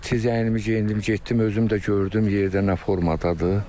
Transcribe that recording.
Mən də tez əynimi geyindim, getdim, özüm də gördüm yerdə nə formadadır.